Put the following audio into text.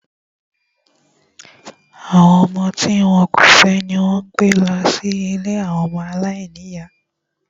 Àwọn ọmọ tí wọn kò fẹ́ ni wón ń gbé lọ sí ilée ọmọ aláìníyá